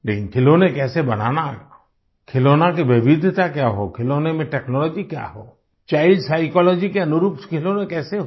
लेकिन खिलौने कैसे बनाना खिलौने की विविधता क्या हो खिलौनों में टेक्नोलॉजी क्या हो चाइल्ड साइकोलॉजी के अनुरूप खिलौने कैसे हो